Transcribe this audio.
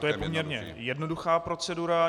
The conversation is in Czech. To je poměrně jednoduchá procedura.